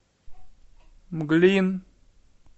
мглин